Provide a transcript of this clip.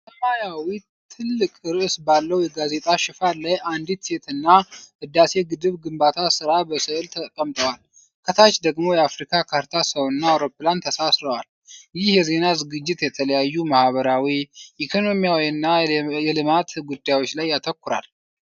ሰማያዊ ትልቅ ርዕስ ባለው የጋዜጣ ሽፋን ላይ አንዲት ሴትና የህዳሴ ግድብ ግንባታ ሥራ በስእል ተቀምጠዋል። ከታች ደግሞ የአፍሪካ ካርታ፣ ሰውና አውሮፕላን ተሳስረዋል። ይህ የዜና ዝግጅት የተለያዩ ማኅበራዊ፣ ኢኮኖሚያዊና የልማት ጉዳዮች ላይ ያተኩራል።